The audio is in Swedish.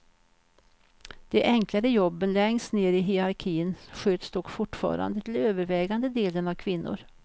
De enklare jobben längst ner i hierarkin sköts dock fortfarande till övervägande delen av kvinnor.